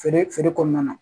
Feere feere kɔnɔna na